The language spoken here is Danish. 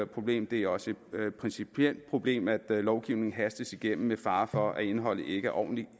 problem det er også et principielt problem at lovgivning hastes igennem med fare for at indholdet ikke er ordentligt